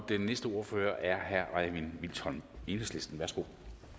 og den næste ordfører er herre øjvind vilsholm enhedslisten værsgo